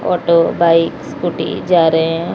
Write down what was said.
Auto bike scooty जा रहे है।